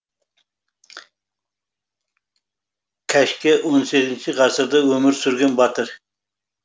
кәшке он сегізінші ғасырда өмір сүрген батыр